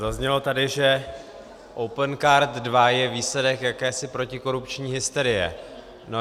Zaznělo tady, že Opencard 2 je výsledek jakési protikorupční hysterie.